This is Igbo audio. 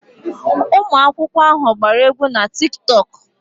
Ụmụ akwụkwọ ahụ gbara egwu na Tiktok.